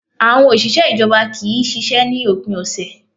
Àwọn òṣìṣẹ́ ìjọba kì í ṣiṣẹ́ ní òpin ọ̀sẹ̀